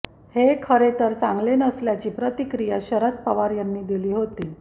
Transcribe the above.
हे खरे तर चांगले नसल्याची प्रतिक्रिया शरद पवार यांनी दिली होती